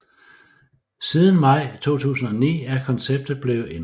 Siden maj 2009 er konceptet blevet ændret